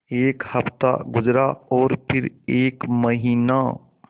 एक हफ़्ता गुज़रा और फिर एक महीना